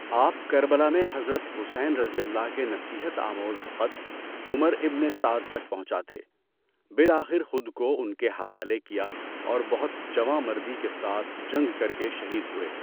آپ کربلا میں حضرت حسینؓ کے نصیحت آموز خط عمر ابنِ سعد تک پہنچاتے، بالآخر خود کو ان کے حوالے کیا اور بہت جواں مردی کے ساتھ جنگ کر کے شہید ہوئے۔